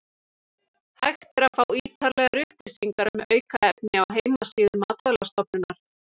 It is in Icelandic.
Hægt er að fá ítarlegar upplýsingar um aukefni á heimasíðu Matvælastofnunar.